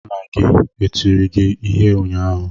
Nna gị e tiri gị ịhe unyaahụ?